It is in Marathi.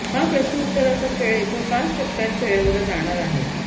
हा प्रश्नोत्तराचा खेळ एकूण पाच टप्प्यांत खेळवला जाणार आहे